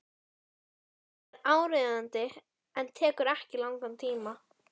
Það er áríðandi en tekur ekki langan tíma.